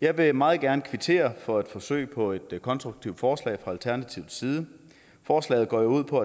jeg vil meget gerne kvittere for et forsøg på et konstruktivt forslag fra alternativets side forslaget går jo ud på